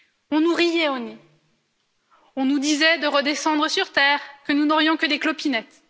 On nous riait au nez, on nous disait de redescendre sur terre, que nous n'aurions que des clopinettes...